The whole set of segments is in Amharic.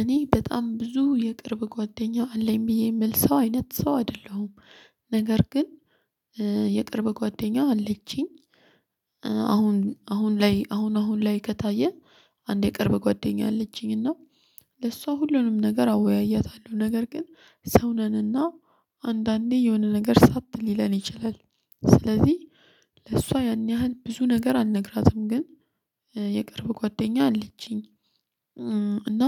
እኔ በጣም ብዙ የቅርብ ጓደኛ አለኝ ብዬ የምል ሰው አይነት ሰው አይደለሁም ነገር ግን የቅርብ ጓደኛው አለችኝ። አሁን አሁን ላይ አሁን አሁን ላይ ከታየ። አንዴ ቅርብ ጓደኛ አለችኝና ለሷ ሁሉንም ነገር አወያያታለሁ ነገር ግን ሰው ነንና አንዳንዴ የሆነ ነገር ሳት ሊለን ይችላል። ስለዚህ ለእሷ ያን ያህል ብዙ ነገር አልነግራትም። ግን የቅርብ ጓደኛ አለችኝ። እና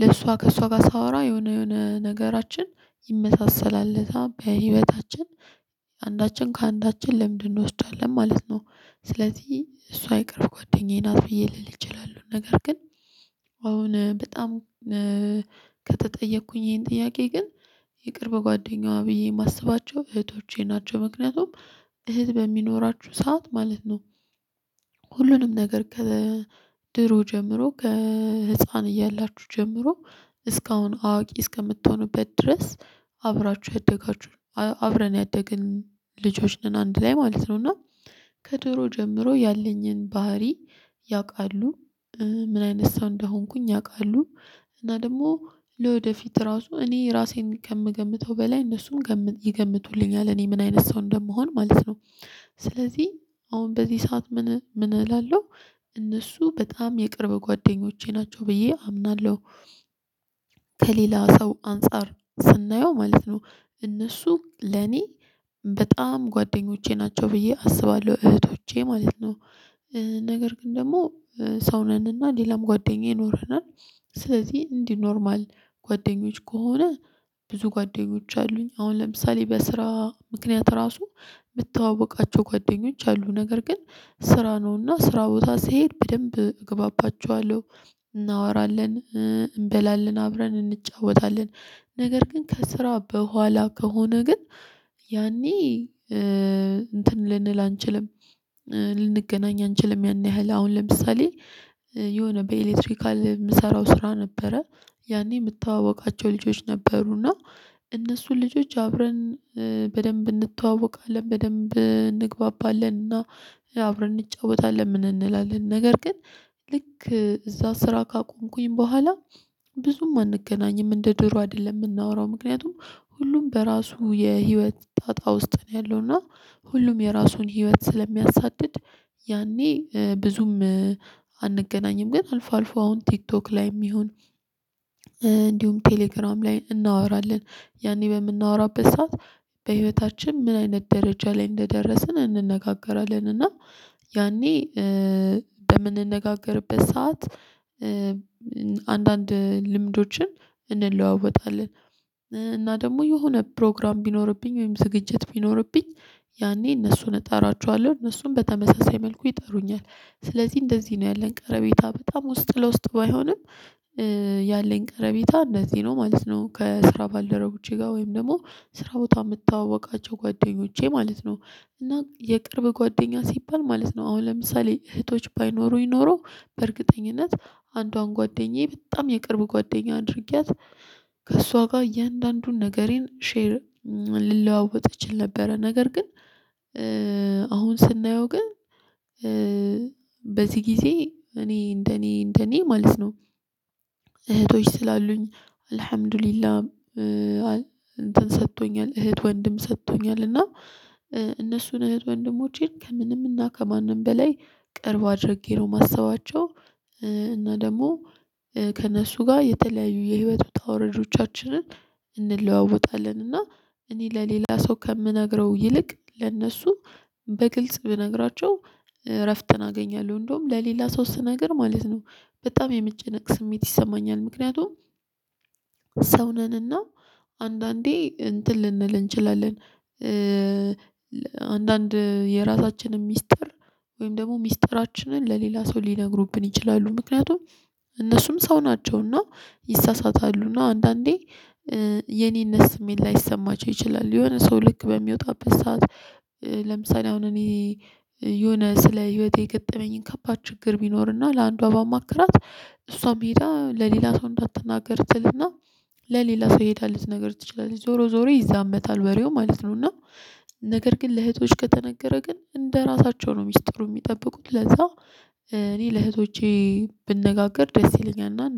ለእሷ ከእሷ ጋር ሳወራ የሆነ የሆነ ነገራችን ይመሳሰላል በህይወታችን አንዳችን ከአንዳችን ልምድ እንወስዳለን ማለት ነው። ስለዚህ እሷ የቅርብ ጓደኛዬን ናት ብዬ ልል እችላለሁ። ነገር ግን አሁን በጣም ከተጠየቅኩኝ ይሄን ጥያቄ ግን የቅርብ ጓደኛዋ ብዬ የማስባቸው እህቶቼ ናቸው። ምክንያቱም እህት በሚኖራችሁ ሰዓት ማለት ነው። ሁሉንም ነገር ከድሮ ጀምሮ ከህፃን እያላችሁ ጀምሮ እስካሁን አዋቂ እስከምትሆኑበት ድረስ አብራችሁ ያደጋችሁ። አብረን ያደግን ልጆች ነን አንድ ላይ ማለት ነው። እና ከድሮ ጀምሮ ያለኝን ባህሪ ያውቃሉ ምን አይነት ሰው እንደሆንኩኝ ያውቃሉ። እና ደግሞ ለወደፊት ራሱ እኔ ራሴን ከምገምተው በላይ እነሱም ይገምቱልኛል እኔ ምን አይነት ሰው እንደምሆን ማለት ነው። ስለዚህ አሁን በዚህ ሰዓት ምን ምን እላለሁ እነሱ በጣም የቅርብ ጓደኞቼ ናቸው ብዬ አምናለሁ። ከሌላ ሰው አንፃር ስናየው ማለት ነው እነሱ ለኔ በጣም ጓደኞቼ ናቸው ብዬ አስባለሁ እህቶቼ ማለት ነው። ነገር ግን ደግሞ ሰው ነንና ሌላም ጓደኛ ይኖረናል። ስለዚህ እንዲህ ኖርማል ጓደኞች ከሆነ ብዙ ጓደኞች አሉኝ አሁን ለምሳሌ በስራ ምክንያት ራሱ የምተዋወቃቸው ጓደኞች አሉ። ነገር ግን ስራ ነውና ስራ ቦታ ስሄድ በደንብ እገባባቸዋለሁ። እናወራለን እንበላለን አብረን እንጫወታለን። ነገር ግን ከስራ በኋላ ከሆነ ግን ያኔ እንትን ልንል አንችልም። ልንገናኝ አንችልም ያን ያህል አሁን ለምሳሌ የሆነ በኤሌክትሪካል የምሰራው ስራ ነበረ። ያኔ የምተዋወቃቸው ልጆች ነበሩና እነሱን ልጆች አብረን በደንብ እንተዋወቃለን በደንብ እንግባባለንና አብረን እንጫወታለን ምን እንላለን ነገር ግን። ልክ እዛ ስራ ካቆምኩኝ በኋላ ብዙም አንገናኝም እንደ ድሮ አይደለም የምናወራው ምክንያቱም ሁሉም በራሱ የህይወት ጣጣ ውስጥ ነው ያለው እና ሁሉም የራሱን ህይወት ስለሚያሳድድ። ያኔ ብዙም አንገናኝም ግን አልፎ አልፎ አሁን ቲክቶክ ላይም ይሁን እንዲሁም ቴሌግራም ላይ እናወራለን። ያኔ በምናወራበት ሰዓት በህይወታችን ምን አይነት ደረጃ ላይ እንደደረስን እንነጋገራለን። ያኔ በምንነጋገርበት ሰዓት አንዳንድ ልምዶችን እንለዋወጣለን። እና ደግሞ የሆነ ፕሮግራም ቢኖርብኝ ወይም ዝግጅት ቢኖርብኝ ያኔ እነሱን እጠራቸዋለሁ እነሱን በተመሳሳይ መልኩ ይጠሩኛል። ስለዚህ እንደዚህ ነው ያለን ቀረቤታ በጣም ውስጥ ለውስጥ ባይሆንም። ያለን ቀረቤታ እንደዚህ ነው ማለት ነው ከስራ ባልደረቦቼ ጋር ወይም ደግሞ ስራ ቦታ የምታዋወቃቸው ጓደኞቼ ማለት ነው። እና የቅርብ ጓደኛ ሲባል ማለት ነው አሁን ለምሳሌ እህቶች ባይኖሩኝ ኖሮ በእርግጠኝነት አንዷን ጓደኛዬ በጣም የቅርብ ጓደኛ አድርጊያት። ከእሷ ጋር እያንዳንዱን ነገሬን ሼር ልለዋወጥ እችል ነበረ ነገር ግን። አሁን ስናየው ግን በዚህ ጊዜ እኔ እንደኔ እንደኔ ማለት ነው። እህቶች ስላሉኝ አልሀምዱሊላህ እንትን ሰጥቶኛል እህት ወንድም ሰጥቶኛል እና እነሱን እህት ወንድሞቼን ከምንም እና ከማንም በላይ ቅርብ አድርጌ ነው ማሰባቸው። እና ደግሞ ከእነሱ ጋር የተለያዩ የህይወት ውጣ ውራጆቻችንን እንለዋወጣለን። እና እኔ ለሌላ ሰው ከምነግረው ይልቅ ለእነሱ በግልጽ ብነግራቸው እረፍትን አገኛለሁ እንደውም ለሌላ ሶስት ነገር ማለት ነው። በጣም የመጨነቅ ስሜት ይሰማኛል ምክንያቱም ሰው ነንና አንዳንዴ እንትን ልንል እንችላለን። አንዳንድ የራሳችንን ሚስጥር ወይም ደግሞ ሚስጥራችንን ለሌላ ሰው ሊነግሩብን ይችላሉ ምክንያቱም እነሱም ሰው ናቸውና ይሳሳታሉና አንዳንዴ የኔነት ስሜት ላይሰማቸው ይችላል። የሆነ ሰው ልክ በሚወጣበት ሰዓት ለምሳሌ አሁን እኔ የሆነ ስለ ህይወቴ የገጠመኝን ከባድ ችግር ቢኖርና ለአንዷ ባማክራት እሷም ሄዳ ለሌላ ሰው እንዳትናገር ትልና ለሌላ ሰው ሄዳ ልትነግር ትችላለች ዞሮ ዞሮ ይዛመታል ወሬው ማለት ነው። እና ነገር ግን ለእህቶች ከተነገረ ግን እንደራሳቸው ነው ሚስጥሩ የሚጠብቁት ለዛ። እኔ ለእህቶቼ ብነጋገር ደስ ይለኛል። እና